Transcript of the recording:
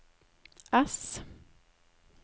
S